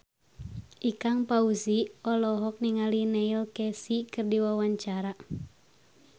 Ikang Fawzi olohok ningali Neil Casey keur diwawancara